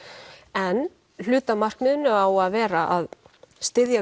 en hluti af markmiðinu á að vera að styðja